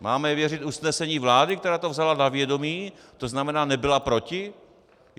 Máme věřit usnesení vlády, která to vzala na vědomí, to znamená nebyla proti?